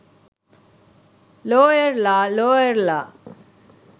lawyer ලා lawyer ලා